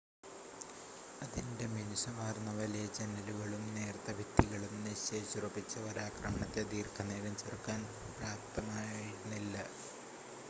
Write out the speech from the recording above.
അതിൻ്റെ മിനുസമാർന്ന വലിയ ജനലുകളും നേർത്ത ഭിത്തികളും നിശ്ചയിച്ചുറച്ച ഒരാക്രമണത്തെ ദീർഘനേരം ചെറുക്കാൻ പ്രാപ്തമായിരുന്നില്ല